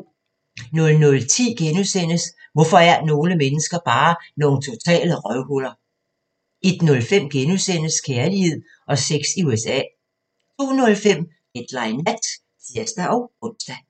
00:10: Hvorfor er nogle mennesker bare nogle totale røvhuller? * 01:05: Kærlighed og sex i USA * 02:05: Deadline Nat (tir-ons)